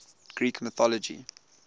greek mythology